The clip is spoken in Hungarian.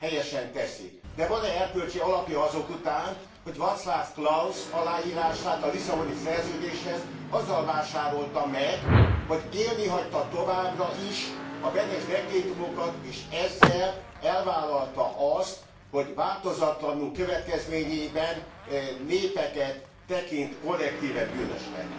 Helyesen teszi, de van e erkölcsi alapja azok után, hogy Vaclav Klaus aláírását a Lisszaboni Szerződéshez azzal vásárolta meg, hogy élni hagyta továbbra is a Benes dekrétumokat és ezzel elvállalta azt, hogy változatlanul következményeiben népeket tekint kollektíven bűnösnek.